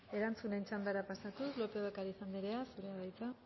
erantzunen txandara pasatuz lópez de ocariz andrea zurea da hitza